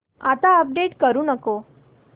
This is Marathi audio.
आता अपडेट करू नको